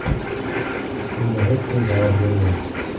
Shunda hech kim javob bermadi.